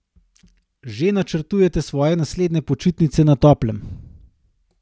Že načrtujete svoje naslednje počitnice na toplem?